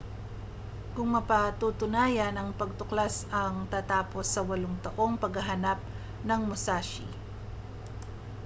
kung mapatutunayan ang pagtuklas ang tatapos sa walong taong paghahanap ng musashi